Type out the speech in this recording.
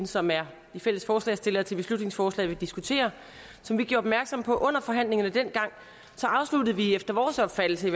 som er de fælles forslagsstillere til beslutningsforslaget vi diskuterer gjorde opmærksom på under forhandlingerne dengang så afsluttede vi i efter vores opfattelse